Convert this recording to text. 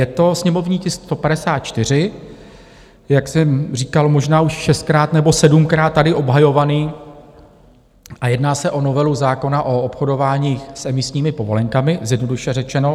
Je to sněmovní tisk 154, jak jsem říkal, možná už šestkrát nebo sedmkrát tady obhajovaný, a jedná se o novelu zákona o obchodování s emisními povolenkami, zjednodušeně řečeno.